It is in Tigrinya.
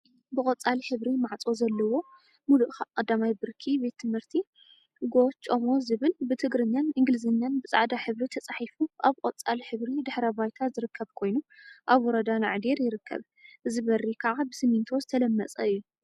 ብቆፃል ሕብሪ ማዕፆ ዘለዎ ሙሉእ 1ይ ብርኪ ቤት ትምህርቲ ጎ/ጮሞ ዝብል ብትግርኛን እንግሊዘኛን ብፃዕዳ ሕብሪ ተፃሒፉ አብ ቆፃል ሕብሪ ድሕረ ባይታ ዝርከብ ኮይኑ፤ አብ ወረዳ ናዕዴር ይርከብ፡፡ እዚ በሪ ከዓ ብስሚንቶ ዝተለመፀ እዩ፡፡